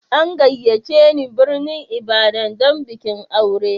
An gayyace ni birnin Ibadan don bikin aure.